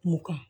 Kungo kɔnɔ